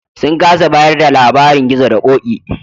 Sun kasa bayar da labarin Gizo da Ƙoƙi.